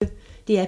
DR P1